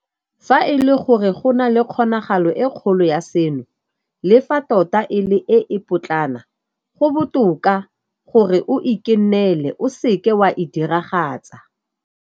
Fa e le gore go na le kgonagalo e kgolo ya seno, le fa tota e le e e potlana, go botoka gore o ikennele o seke wa e diragatsa.